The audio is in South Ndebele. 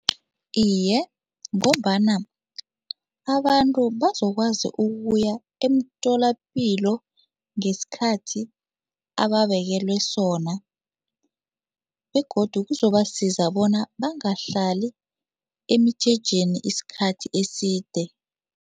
Iye, ngombana abantu bazokwazi ukuya emtholapilo ngesikhathi ababekelwe sona begodu kuzobasiza bona bangahlali emijejeni isikhathi eside.